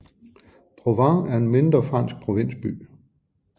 Provins er en mindre fransk provinsby